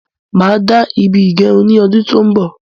Máa dá ibí ígẹrun ní ọdún tó n bọ